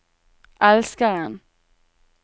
elskeren